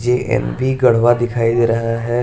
JNV Garhwa दिखाई दे रहा है।